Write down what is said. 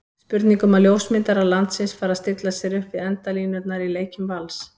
Spurning um að ljósmyndarar landsins fari að stilla sér upp við endalínurnar í leikjum Vals?